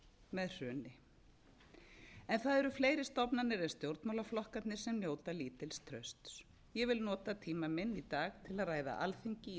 með hruni það eru fleiri stofnanir en stjórnmálaflokkarnir sem njóta lítils trausts ég vil nota tíma minn í dag til að ræða alþingi